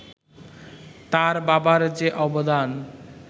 তার বাবার যে অবদান